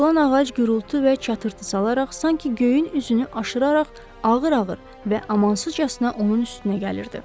Yıxılan ağac gurultu və çatırtı salaraq sanki göyün üzünü aşıraraq ağır-ağır və amansızcasına onun üstünə gəlirdi.